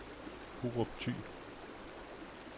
Hurup Thy